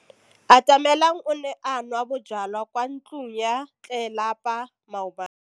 Atamelang o ne a nwa bojwala kwa ntlong ya tlelapa maobane.